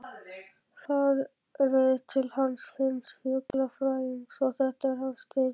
Farið til hans Finns fuglafræðings, þetta er hans deild.